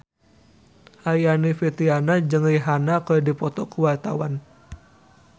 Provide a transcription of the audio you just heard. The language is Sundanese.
Aryani Fitriana jeung Rihanna keur dipoto ku wartawan